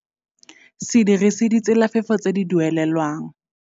Se dirise ditselafefo tse di duelelwang.